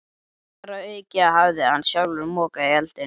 Þar að auki hafði hann sjálfur mokað þeim í eldinn.